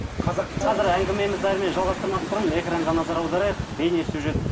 қазір әңгімемізді әрмен жалғастырмас бұрын экранға назар аударайық бейнесюжет